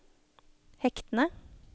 hektene